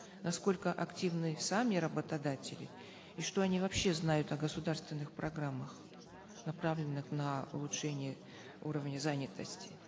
насколько активны сами работодатели и что они вообще знают о государственных программах направленных на улучшение уровня занятости